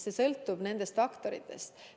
See sõltub kõigist nendest faktoritest.